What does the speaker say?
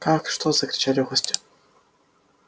как что закричали гости